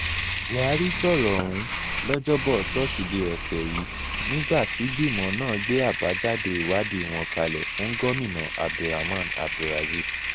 buhari sọ̀rọ̀ òhun lọ́jọ́bọ̀ tosidee ọ̀sẹ̀ yìí nígbà tígbìmọ̀ náà gbé àbájáde ìwádìí wọn kalẹ̀ fún gomina abdulrahman abdulrazib